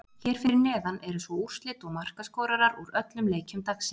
Hér fyrir neðan eru svo úrslit og markaskorarar úr öllum leikjum dagsins.